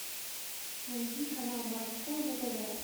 найди канал морской на тв